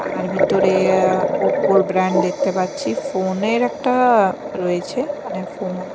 আর ভিতরে ওপ্পো -এর ব্র্যান্ড দেখতে পাচ্ছি ফোন -এর একটা রয়েছে মানে ফোন --